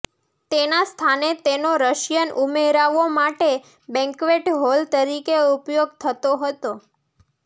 તેના સ્થાને તેનો રશિયન ઉમરાવો માટે બેન્ક્વેટ હોલ તરીકે ઉપયોગ થતો હતો